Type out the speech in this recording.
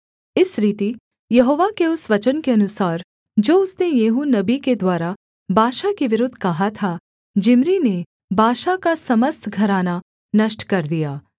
इस रीति यहोवा के उस वचन के अनुसार जो उसने येहू नबी के द्वारा बाशा के विरुद्ध कहा था जिम्री ने बाशा का समस्त घराना नष्ट कर दिया